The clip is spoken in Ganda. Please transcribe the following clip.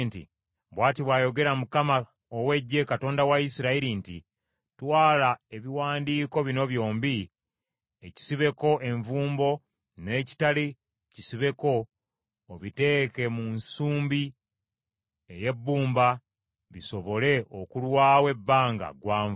‘Bw’ati bw’ayogera Mukama ow’Eggye, Katonda wa Isirayiri nti, Twala ebiwandiiko bino byombi, ekisibeko envumbo n’ekitali kisibeko obiteeke mu nsumbi ey’ebbumba bisobole okulwawo ebbanga gwanvu.